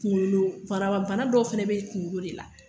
Kunkolo baraba, bana dɔw fana be yen kunkolo de la.